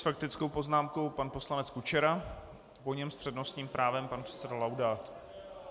S faktickou poznámkou pan poslanec Kučera, po něm s přednostním právem pan předseda Laudát.